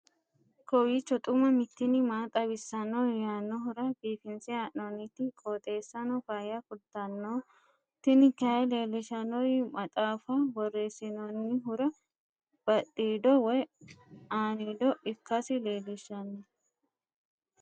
kowiicho xuma mtini maa xawissanno yaannohura biifinse haa'noonniti qooxeessano faayya kultanno tini kayi leellishshannori maxaafa borreessinoonnihura badhiido woy aaniido ikkkasi leelishshanno